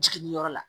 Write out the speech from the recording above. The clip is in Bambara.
Jiginniyɔrɔ la